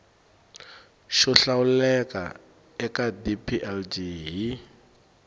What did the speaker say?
xo hlawuleka eka dplg hi